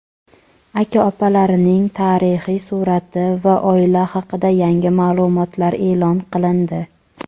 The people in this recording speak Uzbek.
aka-opalarining tarixiy surati va oila haqida yangi ma’lumotlar e’lon qilindi.